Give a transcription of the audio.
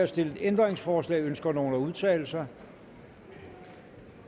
stillet ændringsforslag ønsker nogen at udtale sig